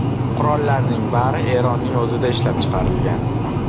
Qurollarning bari Eronning o‘zida ishlab chiqarilgan.